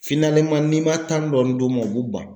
n'i ma tan dɔɔni d'u ma u b'u ban